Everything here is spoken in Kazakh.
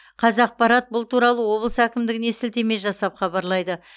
қазақпарат бұл туралы облыс әкімдігіне сілтеме жасап хабарлайды